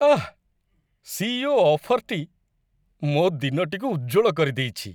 ଆଃ! CEO. ଅଫର୍‌ଟି ମୋ ଦିନଟିକୁ ଉଜ୍ଜ୍ୱଳ କରିଦେଇଛି।